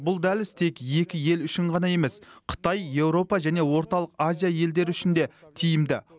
бұл дәліз тек екі ел үшін ғана емес қытай еуропа және орталық азия елдері үшін де тиімді